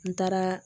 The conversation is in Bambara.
N taaraa